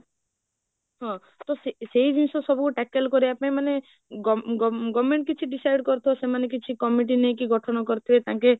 ହଁ ତ ସେଇ ଜିନିଷ ସବୁ tackle କରିବା ପାଇଁ ମାନେ government କିଛି decide କରୁଥିବ ସେମାନେ କିଛି committee ନେଇକି କିଛି ଗଠନ କରିଥିବେ ତାଙ୍କେ